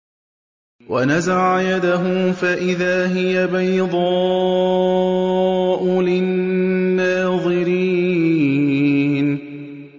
وَنَزَعَ يَدَهُ فَإِذَا هِيَ بَيْضَاءُ لِلنَّاظِرِينَ